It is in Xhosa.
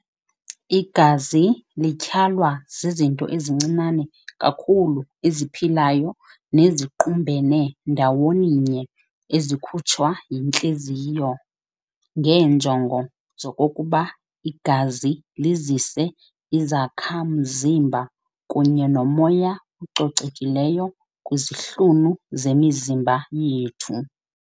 Igazi lityhalwa zizinto ezincinane kakhulu eziphilayo neziqumbene ndawoninye ezikhutshwa yintliziyo, ngeenjongo zokokuba igazi lizise izakha-mzimba kunye nomoya ococekileyo kwizihlunu zemizimba yethu.